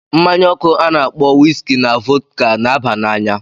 Mmanya ọkụ a na-akpọ wiski na vodka na-aba n'anya.